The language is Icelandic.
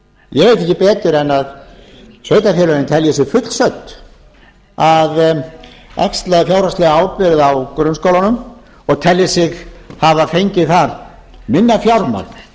ég veit ekki betur en að sveitarfélögin telji sig fullsödd að axla fjárhagslega ábyrgð á grunnskólanum og telji sig hafa fengið þar minna fjármagn